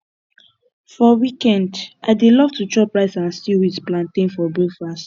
for weekend i dey love to chop rice and stew with plantain for breakfast